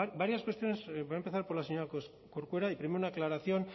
varias cuestiones voy a empezar por la señora corcuera una aclaración